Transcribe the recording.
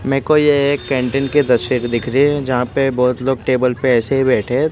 मैं को ये एक कैंटीन के तस्वीर दिख रही है जहां पे बहोत लोग टेबल पे ऐसे ही बैठे--